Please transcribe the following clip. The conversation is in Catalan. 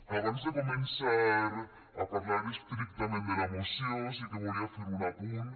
abans de començar a parlar estrictament de la moció sí que volia fer un apunt